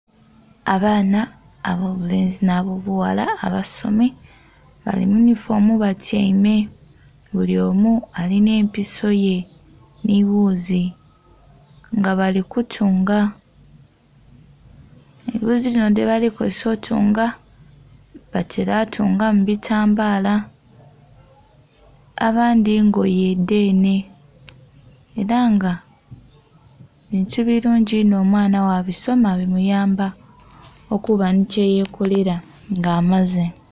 Abaana abobulenzi nh'abobughala abasomi bali muyunhifoomu batyaime bulyomu alinha episo ye nheghuzi nga bali kutunga. Eghuzi dhinho dhebali kozesa kutunga batera tungamu bitambala abandhi ngoye dhenhe era nga bintu birungi inho omwaana bwabisoma bimuyamba okuba nhi kyeyekolera nga amaze.